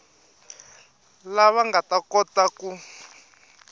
lava nga ta kota ku